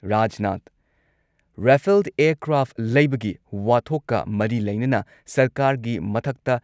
Rajnath Rafale aircraft ꯂꯩꯕꯒꯤ ꯋꯥꯊꯣꯛꯀ ꯃꯔꯤ ꯂꯩꯅꯅ ꯁꯔꯀꯥꯔꯒꯤ ꯃꯊꯛꯇ